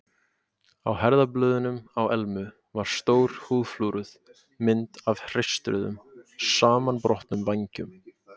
Á herðablöðunum á Elmu var stór húðflúruð mynd af hreistruðum, samanbrotnum vængjum.